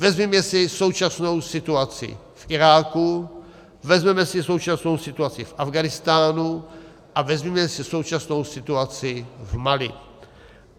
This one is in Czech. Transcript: Vezměme si současnou situaci v Iráku, vezměme si současnou situaci v Afghánistánu a vezměme si současnou situaci v Mali.